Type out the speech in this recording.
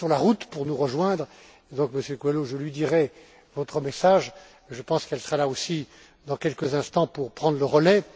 Elle est sur la route pour nous rejoindre et donc, Monsieur Coelho, je lui ferai part de votre message. Je pense qu'elle sera là dans quelques instants pour prendre le relais